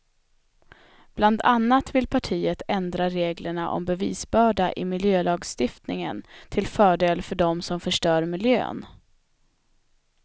Bland annat vill partiet ändra reglerna om bevisbörda i miljölagstiftningen till fördel för dem som förstör miljön.